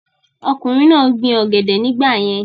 ọkùnrin náà gbin ọ̀gẹ̀dẹ̀ nígbà yẹn